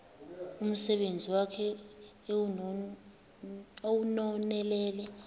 umsebenzi wakhe ewunonelele